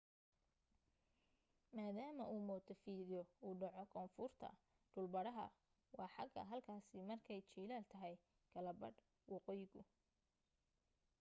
maadaama uu montefidyo uu dhaco koonfurta dhul badhaha waa xagaa halkaasi markay jiilaal tahay kala badh waqooyigu